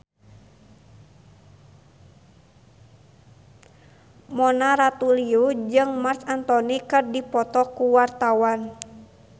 Mona Ratuliu jeung Marc Anthony keur dipoto ku wartawan